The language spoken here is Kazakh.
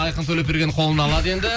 айқын төлепберген қолына алады енді